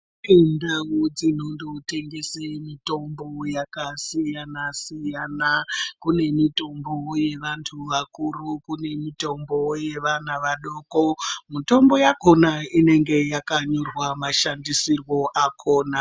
Kundau dzinotengese mitombo yakasiyana-siyana, kune mitombo yevantu vakuru, kune mitombo yevana vadoko. Mutombo yakona inenge yakanyorwa mashandisirwo akona.